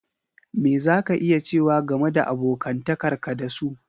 Me za ka iya cewa game da abokantakar ka da su?